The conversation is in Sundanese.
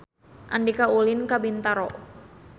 Andika ulin ka Bintaro